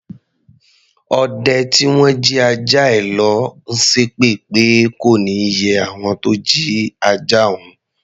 Ọdẹ tí wọ́n jí ajá ẹ lọ̀ ló ń ṣépè pé kò ní yẹ àwọn tó jí ajá òun.